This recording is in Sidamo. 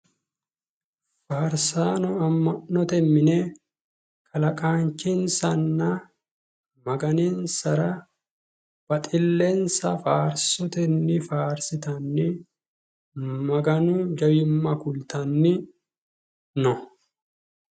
Faarsaano amma'note mine kalaqaanchinsanna maganinsara baxillensa faarsotenni faarsitanni maganu jawimma kultanni no.